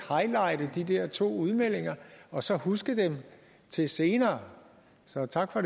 highlighte de der to udmeldinger og så huske dem til senere så tak for